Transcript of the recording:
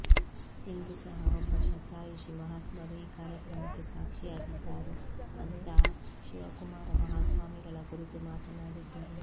ಇಂದು ಸಹ ಒಬ್ಬ ಶತಾಯುಷಿ ಮಹಾತ್ಮರು ಈ ಕಾರ್ಯಕ್ರಮಕ್ಕೆ ಸಾಕ್ಷಿಯಾಗಿದ್ದಾರೆ ಅಂತಾ ಶಿವಕುಮಾರ ಮಹಾಸ್ವಾಮಿಗಳ ಕುರಿತು ಮಾತನಾಡಿದ್ದರು